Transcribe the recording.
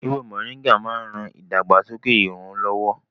Ewé Moringa máa ń ran ìdàgbàsókè irun lọ́wọ́